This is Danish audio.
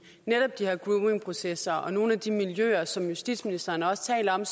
netop de her groomingprocesser og nogle af de miljøer som justitsministeren også taler om